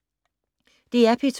DR P2